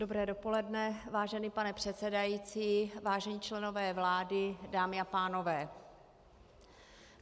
Dobré dopoledne, vážený pane předsedající, vážení členové vlády, dámy a pánové.